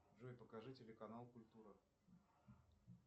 джой покажи телеканал культура